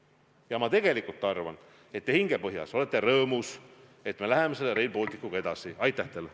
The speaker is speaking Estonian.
Ja ma tegelikult arvan, et te hingepõhjas olete rõõmus, et me Rail Balticuga edasi läheme.